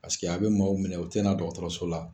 Paseke a bɛ maaw minɛ o tɛ na dɔgɔtɔrɔso la